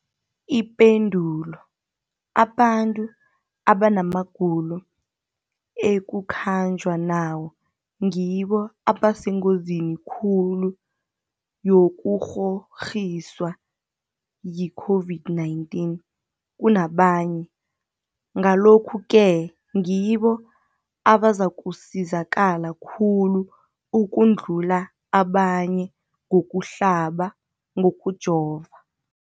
Ipendulo, abantu abanamagulo ekukhanjwa nawo ngibo abasengozini khulu yokukghokghiswa yi-COVID-19 kunabanye, Ngalokhu-ke ngibo abazakusizakala khulu ukudlula abanye ngokuhlaba, ngokujova.